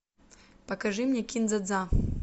покажи мне кин дза дза